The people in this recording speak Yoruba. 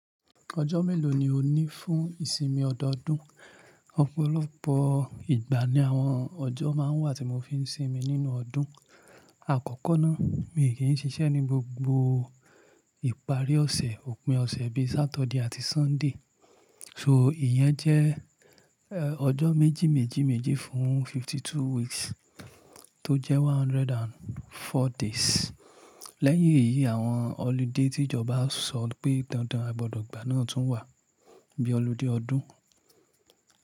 Ọjọ́ mélòó ni ó ní fún ìsinmi ọdọọdún? Ọ̀pọ̀lọpọ̀ ìgbà ni àwọn ọjọ́ máa ń wà tí mo fi ń sinmi nínú ọdún. Àkọ́kọ́ ná, mi kì í ṣiṣẹ́ ní gbogbo ìparí ọ̀sẹ̀, òpin ọ̀sẹ̀ bíi Saturday àti Sunday. So ìyẹn jẹ́, ọjọ́ méjì méjì méjì fún fifty two weeks tó jẹ́ one hundred and four days. Lẹ́yìn èyí, àwọn holiday tí ìjọba sọ pé dandan a gbọdọ̀ gba náà tún wà, bí i ọludé ọdún.